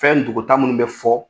Fɛn dɔgɔtaa minnu bɛ fɔ